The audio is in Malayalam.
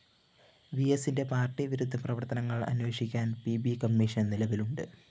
വിഎസിന്റെ പാര്‍ട്ടിവിരുദ്ധ പ്രവര്‍ത്തനങ്ങള്‍ അന്വേഷിക്കാന്‍ പി ബി കമ്മീഷൻ നിലവിലുണ്ട്